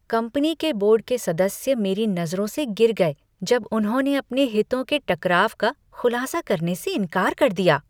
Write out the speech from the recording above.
Company के board के सदस्य मेरी नज़रों से गिर गए जब उन्होंने अपने हितों के टकराव का खुलासा करने से इनकार कर दिया।